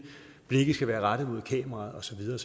blikket skal være rettet mod kameraet og så videre